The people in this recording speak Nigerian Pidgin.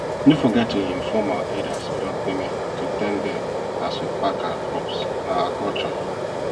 no forget to inform our elders wey don kpeme to thank dem as we pack our crops na our culture